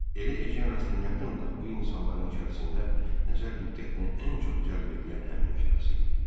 Elə Ejen Rastinyakın da bu insanların içərisində nəzər-diqqətini ən çox cəlb eləyən həmin şəxs idi.